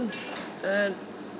en